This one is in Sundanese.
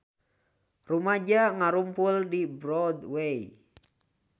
Rumaja ngarumpul di Broadway